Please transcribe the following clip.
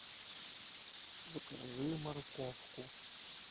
закажи морковку